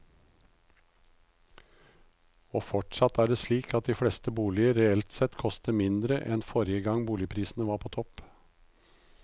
Og fortsatt er det slik at de fleste boliger reelt sett koster mindre enn forrige gang boligprisene var på topp.